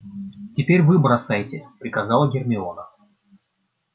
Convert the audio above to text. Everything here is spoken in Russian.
теперь вы бросайте приказала гермиона